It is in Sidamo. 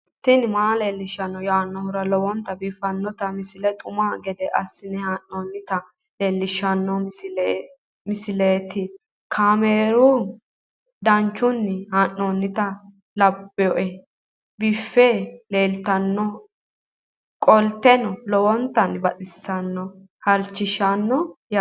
tini maa leelishshanno yaannohura lowonta biiffanota misile xuma gede assine haa'noonnita leellishshanno misileeti kaameru danchunni haa'noonni lamboe biiffe leeeltannoqolten lowonta baxissannoe halchishshanno yaate